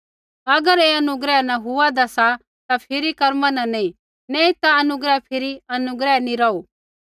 अगर ऐ अनुग्रह न हुआदा सा ता फिरी कर्मा न नैंई नैंई ता अनुग्रह फिरी अनुग्रह नैंई रौहू